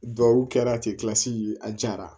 Duw kɛra ten kilasi ye a jara